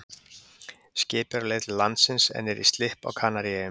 Skipið er á leið til landsins en er í slipp á Kanaríeyjum.